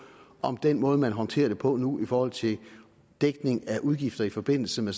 om den måde man håndterer det på nu i forhold til dækning af udgifter i forbindelse med